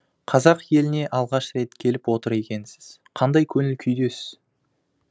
қазақ еліне алғаш рет келіп отыр екенсіз қандай көңіл күйдесіз